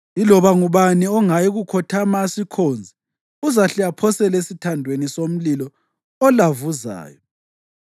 Iloba ngubani ongayi kukhothama asikhonze uzahle aphoselwe esithandweni somlilo olavuzayo.”